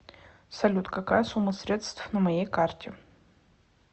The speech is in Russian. салют какая сумма средств на моей карте